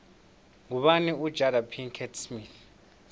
ngubani ujada pickett smith